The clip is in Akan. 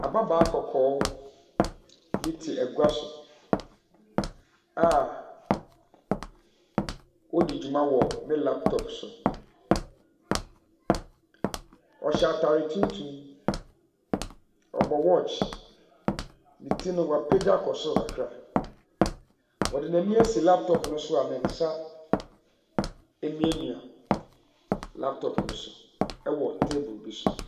Ababaawa kɔkɔɔ bi te agua so a ɔredi dwuma wɔ ne laptop so. Ɔhyɛ atare tuntum, ɔbɔ watch, ne ti no, wapagya kɔ soro kakra. Ɔde n'ani asi laptop no so a ne nsa remiamia laptop no so wɔ table no so.